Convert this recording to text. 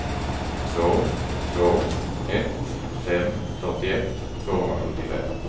två två ett fem fyrtioett tvåhundrasjuttiofem